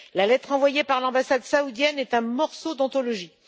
La lettre envoyée par l'ambassade saoudienne est un morceau d'anthologie.